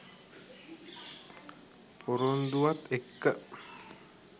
පොරොන්දුවත් එක්ක